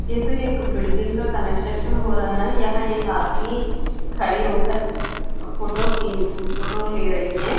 ये तो एक बिल्डिंग का कनेक्शन हो रहा है यहां एक आदमी खड़ी होकर फोटो की फोटो ले रही है।